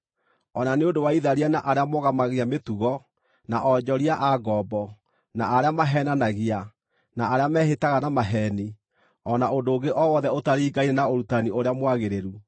o na nĩ ũndũ wa itharia na arĩa mogomagia mĩtugo, na onjoria a ngombo, na arĩa maheenanagia, na arĩa mehĩtaga na maheeni, o na ũndũ ũngĩ o wothe ũtaringaine na ũrutani ũrĩa mwagĩrĩru,